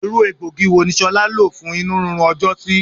Irú egbògi wo ni ṣolá lo fún inurinrun ọjọ́ sí?